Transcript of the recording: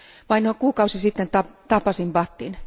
Vain noin kuukausi sitten tapasin Bhattin.